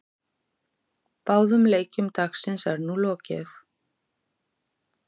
Báðum leikjum dagsins er nú lokið.